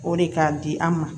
O de ka di an ma